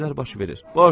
Belə şeylər baş verir.